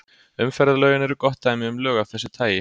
Umferðarlögin eru gott dæmi um lög af þessu tagi.